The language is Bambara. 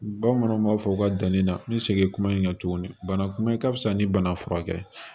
Bamananw b'a fɔ u ka danni na n bɛ segin kuma in kan tuguni banakun ka fisa ni bana furakɛ ye